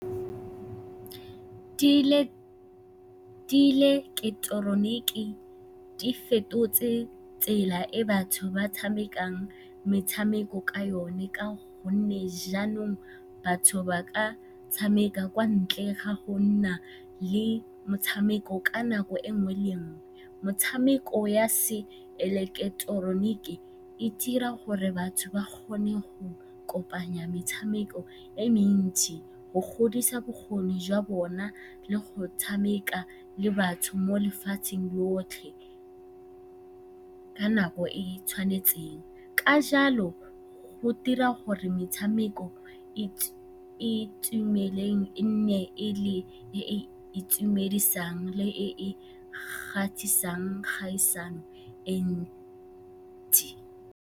Diileketoroniki di fetotse tsela e batho ba tshamekang metshameko ka yone ka gonne jaanong batho ba ka tshameka kwa ntle ga go nna le motshameko ka nako e nngwe le e nngwe. Metshameko ya seileketeroniki e dira gore batho ba kgone go kopanya metshameko e mentsi, go godisa bokgoni jwa bona le go tshameka le batho mo lefatsheng lotlhe ka nako e e tshwanetseng. Ka jalo, go dira gore metshameko e e tumileng e nne e e itumedisang le e e e ntsi.